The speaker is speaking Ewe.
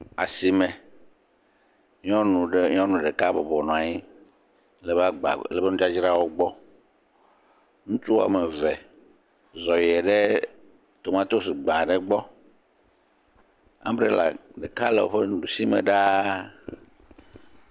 Asime. Nyɔnu aɖe ɖeka bɔbɔnɔ anyi le ebe agba, le ebe nudzadzrawo gbɔ. Ŋutsu wɔme eve zɔ yi ɖe tomatosi gba gbɔ. Ambrela ɖeka le eƒe ɖusi me ɖa.